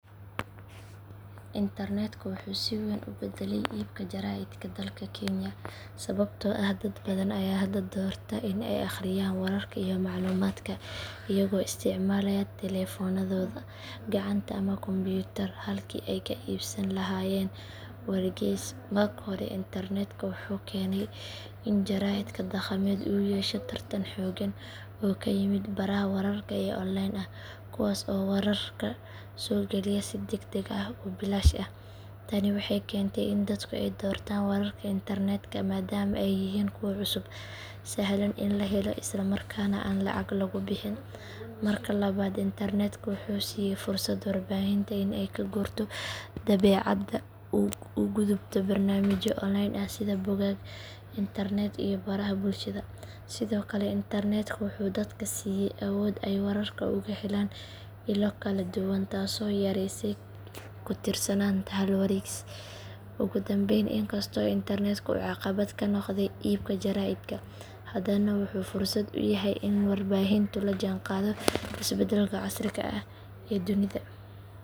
Internetka wuxuu si weyn u beddelay iibka jaraa’idka dalka kenya sababtoo ah dad badan ayaa hadda doorta in ay akhriyaan wararka iyo macluumaadka iyagoo isticmaalaya taleefannadooda gacanta ama kombuyuutar halkii ay ka iibsan lahaayeen wargeys. Marka hore internetka wuxuu keenay in jaraa’idka dhaqameed uu yeesho tartan xooggan oo ka yimid baraha wararka ee online ah kuwaas oo wararka soo geliya si degdeg ah oo bilaash ah. Tani waxay keentay in dadku ay doortaan wararka internetka maadaama ay yihiin kuwo cusub, sahlan in la helo isla markaana aan lacag lagu bixin. Marka labaad internetka wuxuu siiyay fursad warbaahinta in ay ka guurto daabacaadda una gudubto barnaamijyo online ah sida bogag internet iyo baraha bulshada. Sidoo kale internetka wuxuu dadka siiyay awood ay wararka uga helaan ilo kala duwan taasoo yareysay ku tiirsanaanta hal wargeys. Ugu dambayn inkastoo internetka uu caqabad ku noqday iibka jaraa’idka haddana wuxuu fursad u yahay in warbaahintu la jaanqaaddo isbeddelka casriga ah ee dunida.